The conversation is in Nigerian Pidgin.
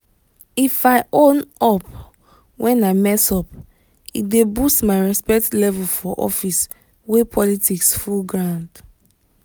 if i own up when i mess up e dey boost my respect level for office wey politics full ground.